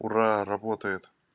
ура работает